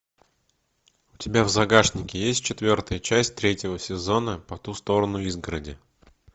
у тебя в загашнике есть четвертая часть третьего сезона по ту сторону изгороди